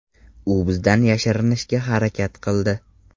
U bizdan yashirinishga harakat qildi.